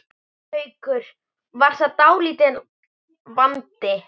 Haukur: Var það dálítill vandi?